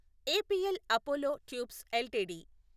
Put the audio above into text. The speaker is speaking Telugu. APL Apollo tubes LTD